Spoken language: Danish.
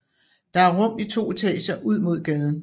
Der er rum i to etager ud mod gaden